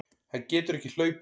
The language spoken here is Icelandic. Hann getur ekki hlaupið.